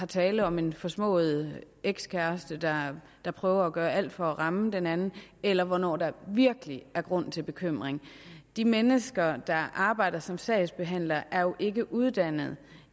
tale om en forsmået ekskæreste der der prøver at gøre alt for at ramme den anden eller hvornår der virkelig er grund til bekymring de mennesker der arbejder som sagsbehandlere er jo ikke uddannet